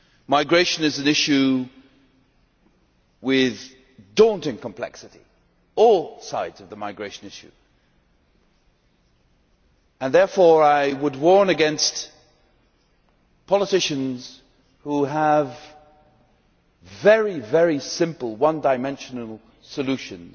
Migration is an issue with daunting complexity all sides of the migration issue and therefore I would warn against politicians who have very simple, one dimensional solutions